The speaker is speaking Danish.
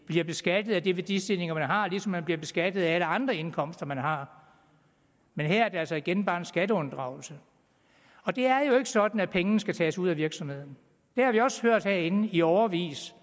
bliver beskattet af de værdistigninger man har ligesom man bliver beskattet af alle andre indkomster man har men her er det altså igen bare en skatteunddragelse det er jo ikke sådan at pengene skal tages ud af virksomheden det har vi også hørt herinde i årevis